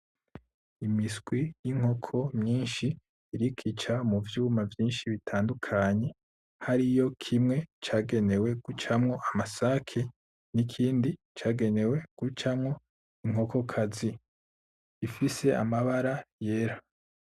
imiswi y'inkoko mwishi iriko ica muvyuma vyishi bitandukanye, hariyo kimwe cagenewe gucamwo amasake, nikindi cagenewe gucamwo inkokokazi ifise amabara yera.